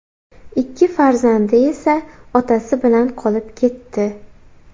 Ikki farzandi esa otasi bilan qolib ketdi.